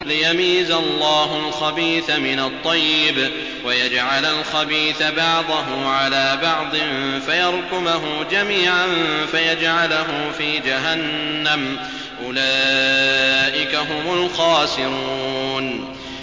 لِيَمِيزَ اللَّهُ الْخَبِيثَ مِنَ الطَّيِّبِ وَيَجْعَلَ الْخَبِيثَ بَعْضَهُ عَلَىٰ بَعْضٍ فَيَرْكُمَهُ جَمِيعًا فَيَجْعَلَهُ فِي جَهَنَّمَ ۚ أُولَٰئِكَ هُمُ الْخَاسِرُونَ